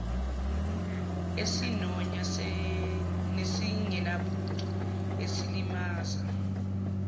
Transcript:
esinonya nesingenabuntu esilimaza